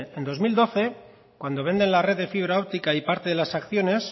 en dos mil doce cuando venden la red de fibra óptica y parte de las acciones